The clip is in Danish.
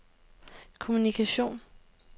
kommunikation